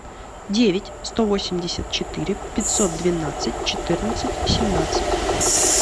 девять сто восемьдесят четыре пятьсот двенадцать четырнадцать семнадцать